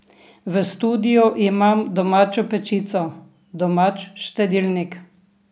V studiu imam domačo pečico, domač štedilnik.